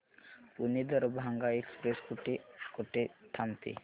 Pune Darbhanga express कुठे कुठे थांबते